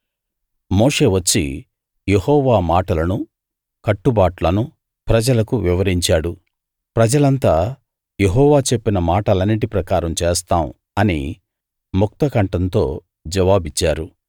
మోషే వచ్చి యెహోవా మాటలను కట్టుబాట్లను ప్రజలకు వివరించాడు ప్రజలంతా యెహోవా చెప్పిన మాటలన్నిటి ప్రకారం చేస్తాం అని ముక్త కంఠంతో జవాబిచ్చారు